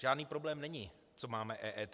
Žádný problém není, co máme EET.